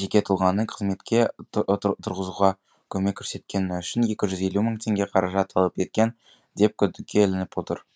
жеке тұлғаны қызметке тұрғызуға көмек көрсеткені үшін екі жүз елу мың теңге қаражат талап еткен деп күдікке ілініп отыр